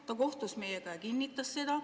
Ta kohtus meiega ja kinnitas seda.